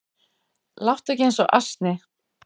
Láttu ekki eins og asni